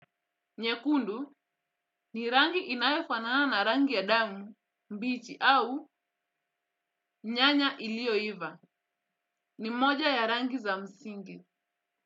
Nyekundu ni rangi inayofanana na rangi ya damu, mbichi au nyanya iliyoiva ni moja ya rangi za msingi.